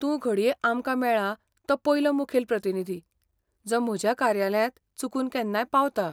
तूं घडये आमकां मेळ्ळां तो पयलो मुखेल प्रतिनिधी, जो म्हज्या कार्यालयांत चुकून केन्नाय पावता.